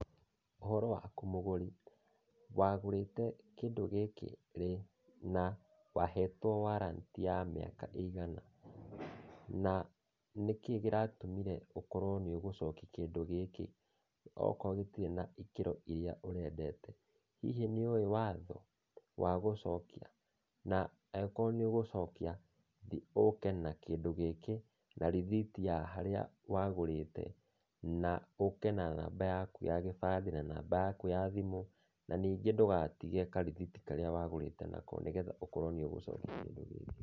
Ũhoro waku mũgũri? Wagũrĩte kĩndũ gĩkĩ rĩ, na wahetwo warrant ya mĩaka ĩigana? Na nĩkĩĩ kĩratũmĩre ũkorwo nĩ ũgũcokia kĩndũ gĩkĩ okorwo gĩtirĩ na ikĩro iria ũrendete? Hihi nĩ ũĩ watho wa gũcokia? Na angĩkorwo nĩ ũgũcokia, ũũke na kĩndũ gĩkĩ, na rĩthiti ya harĩa wagũrĩte, na ũke na namba yaku ya gĩbandĩ na namba yakũ ya thimũ. Na ningĩ ndũgatige karĩthiti karĩa wagũrĩte nako, nĩgetha ũkorwo nĩ ũgũcokia kĩndũ gĩkĩ.